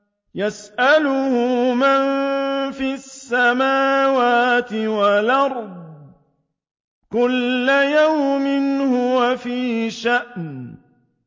يَسْأَلُهُ مَن فِي السَّمَاوَاتِ وَالْأَرْضِ ۚ كُلَّ يَوْمٍ هُوَ فِي شَأْنٍ